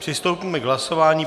Přistoupíme k hlasování.